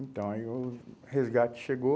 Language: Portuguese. Então, aí o resgate chbegou.